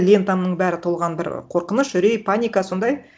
лентамның бәрі толған бір қорқыныш үрей паника сондай